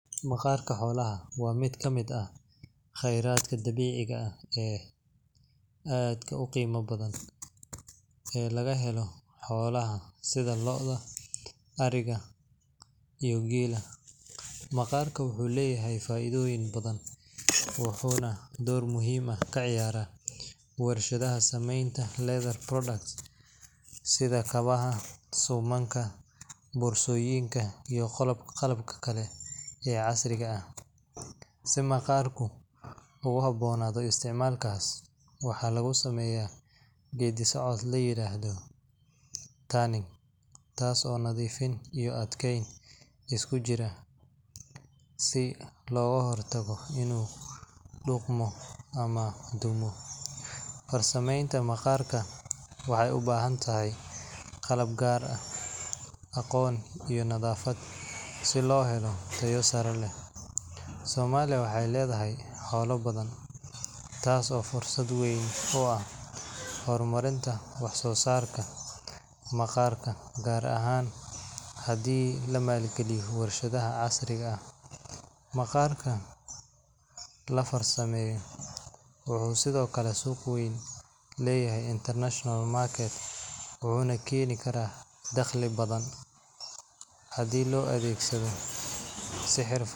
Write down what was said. Maqaarka xoolaha waa mid ka mid ah khayraadka dabiiciga ah ee aadka u qiimaha badan ee laga helo xoolaha sida lo’da, ariga, iyo geela. Maqaarku wuxuu leeyahay faa’iidooyin badan, wuxuuna door muhiim ah ka ciyaaraa warshadaha samaynta leather products sida kabaha, suumanka, boorsooyinka, iyo qalabka kale ee casriga ah. Si maqaarku ugu habboonaado isticmaalkaas, waxaa lagu sameeyaa geeddi-socod la yiraahdo tanning, taas oo nadiifin iyo adkayn isku jirta si looga hortago inuu qudhmo ama dumo. Farsamaynta maqaarka waxay u baahan tahay qalab gaar ah, aqoon, iyo nadaafad si loo helo tayo sare leh. Soomaaliya waxay leedahay xoolo badan, taas oo fursad weyn u ah horumarinta wax-soo-saarka maqaarka, gaar ahaan haddii la maalgeliyo warshado casri ah. Maqaarka la farsameeyo wuxuu sidoo kale suuq weyn ku leeyahay international market, wuxuuna keeni karaa dakhli badan.